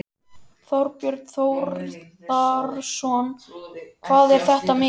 Þorbjörn Þórðarson: Hvað er þetta mikið?